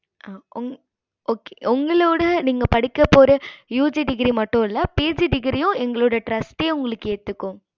okay உங்களோட நீங்க படிக்க போற UG மட்டுல PG degree எங்களோட trast ஏத்துக்கும்